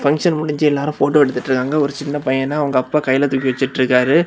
Function முடிஞ்சு எல்லா photo எடுத்துட்டு இருக்காங்க ஒரு சின்ன பையன் அவங்க அப்பா கையில தூக்கி வெச்சிட்டு இருக்காரு.